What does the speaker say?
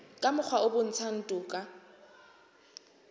ka mokgwa o bontshang toka